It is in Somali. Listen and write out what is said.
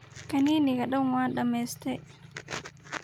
Kaniniga dhaan waa dhameystey.